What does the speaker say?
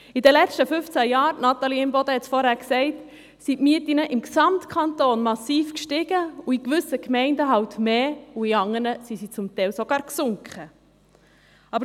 In den letzten fünfzehn Jahren – Grossrätin Imboden hat es bereits gesagt – stiegen die Mieten im gesamten Kanton massiv, in gewissen Gemeinden mehr, und in anderen sanken sie gar.